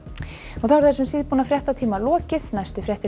þar þessum síðbúna fréttatíma er lokið næstu fréttir